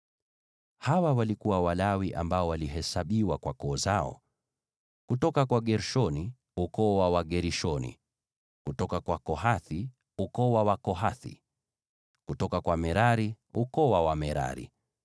Hawa walikuwa Walawi ambao walihesabiwa kwa koo zao: kutoka kwa Gershoni, ukoo wa Wagershoni; kutoka kwa Kohathi, ukoo wa Wakohathi; kutoka kwa Merari, ukoo wa Wamerari.